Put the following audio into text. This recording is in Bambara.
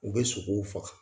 U be sogow faga